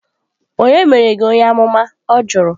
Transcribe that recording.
Ònye mere gi onye-amuma? Ọ jụrụ